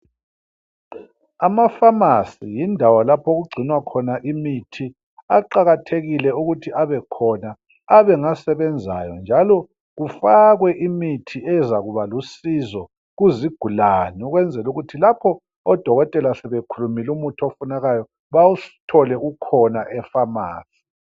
Amafamasi yindawo lapho okugcinwa khona imithi, aqakathekile ukuthi abekhona abengasebenzayo njalo kufakwe imithi ezakuba ezakuba lusizo kuzigulane ukuze lapho oDokotela sebekhulumile umuthi ofunekayo, bawuthole ukhona efamasi.